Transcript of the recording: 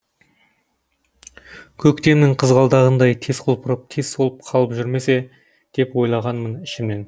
көктемнің қызғалдағындай тез құлпырып тез солып қалып жүрмесе деп ойлағанмын ішімнен